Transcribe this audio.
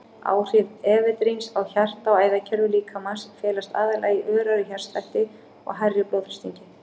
Áhrif efedríns á hjarta- og æðakerfi líkamans felast aðallega í örari hjartslætti og hærri blóðþrýstingi.